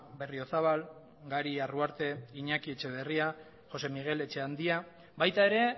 berriozabal gari arruarte iñaki etxeberria josé migel etxeandia baita ere